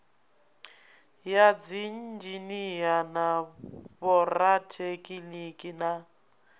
ya dziinzhinia na vhorathekhiniki na